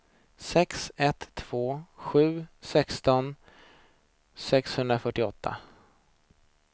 sex ett två sju sexton sexhundrafyrtioåtta